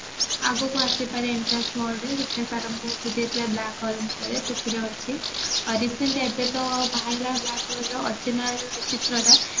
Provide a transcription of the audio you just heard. ଆଗକୁ ଆସି ପାରେ entrance ରେ ସେଥିପାଇଁ sir ଆମକୁ ବୁଝେଇଥିଲେ black hall ବିଷୟରେ ସେଥିରେ ଅଛି recent ଏବେ ତ ବାହାରିଲା black hallର ଅଚିହ୍ନା ଚିତ୍ରଟା